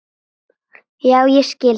Já ég skil það.